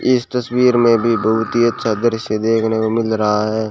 इस तस्वीर में भी बहुत ही अच्छा दृश्य देखने को मिल रहा है।